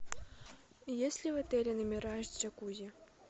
есть ли в отеле номера с джакузи